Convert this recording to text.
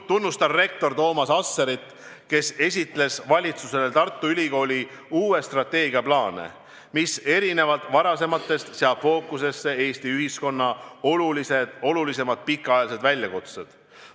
Tunnustan rektor Toomas Asserit, kes esitles valitsusele Tartu Ülikooli uut strateegiat, mis erinevalt varasematest seab fookusesse Eesti ühiskonna olulisemad pikaajalised väljakutsed.